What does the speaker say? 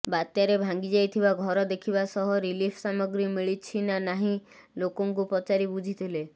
ବାତ୍ୟାରେ ଭାଙ୍ଗିଥିବା ଘର ଦେଖିବା ସହ ରିଲିଫ୍ ସାମଗ୍ରୀ ମିଳିଛି ନା ନାହିଁ ଲୋକଙ୍କୁ ପଚାରି ବୁଝିଥିଲେ